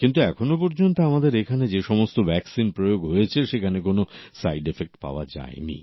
কিন্তু এখনো পর্যন্ত আমাদের এখানে যে সমস্ত ভ্যাকসিন প্রয়োগ হয়েছে সেখানে কোন সাইডএফেক্ট পাওয়া যায়নি